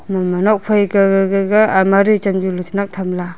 imongma nokphai ka gag gaga almari chamjilo chinak thamla.